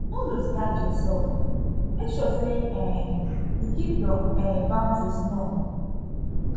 no loose guard your self make sure sey um you keep your um boundaries known